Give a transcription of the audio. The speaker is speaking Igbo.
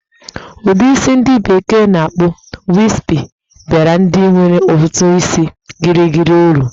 Ụdị isi ndi bekee na-akpọ "wispy" baara ndị nwere ntutu isi gịrịgịrị uru.